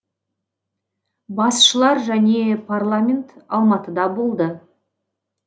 басшылар және парламент алматыда болды